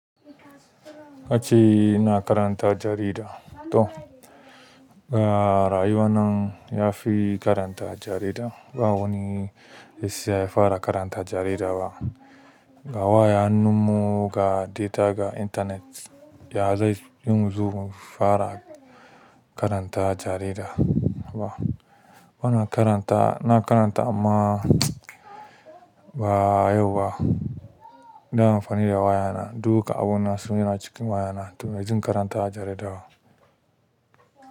A ce ina karanta jarida don rayuwan nan ya fi karanta jarida ba wani sai ya fara karanta jarida ba. A wayan hannun mu ga data ga internet ya zai yiwu mu zo mu fara karanta jarida bana karanta, na karanta amma ba yau ba. Ina amfani da waya na, duka abun ina so ya na cikin waya na to na jin karanta jarida ba.